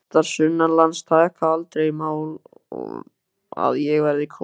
Prestar sunnanlands taka aldrei í mál að ég verði kosinn.